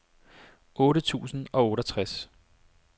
otte tusind og otteogtres